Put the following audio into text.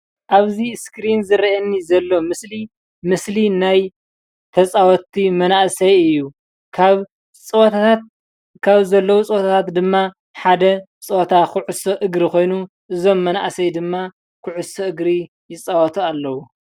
ኣብዚ ምስሊ ዝረአየኒ ዘሎ ምስሊ ምስሊ ናይ ተፃወቲ መናእሰይ እዩ። ካብ ፀወታት ካብ ዘለው ፀወታታት ድማ ፀወታ ኩዕሶ እግሪ ኮይኑ እዞም መናእሰይ ድማ ኩዕሶ እግሪ ይፃወቱ ኣለው፡፡